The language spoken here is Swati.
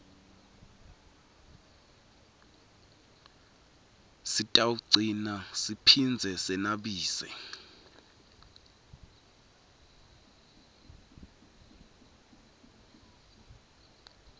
sitawugcina siphindze senabise